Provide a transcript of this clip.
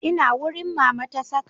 Ina wurin Mama ta saka